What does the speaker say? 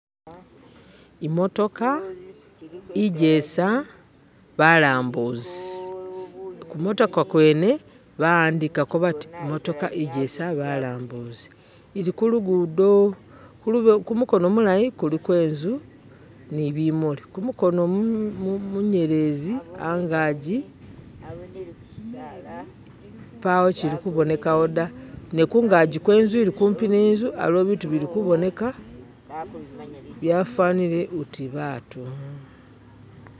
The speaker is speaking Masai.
imotoka ijesa balambuzi kumotoka kwene bawandikako bati imotoka ijesa balambuzi ilikulugudo, kumukono mulayi kuliko inzu ni bimuli kumukono munyelezi angaji pawo kili kubonekawo da ne kungaji kwenzu ili kwimpi ninzu aliwo bitu bilikuboneka byafanile uti baatu